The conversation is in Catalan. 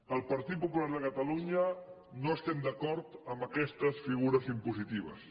el partit popular de catalunya no estem d’acord amb aquestes figures impositives